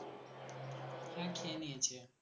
হ্যাঁ খেয়ে নিয়েছে।